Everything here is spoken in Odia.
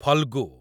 ଫଲ୍ଗୁ